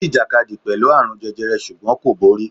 Ó jìjàkadì pẹ̀lú àrùn jẹjẹrẹ ṣùgbọ́n kò borí.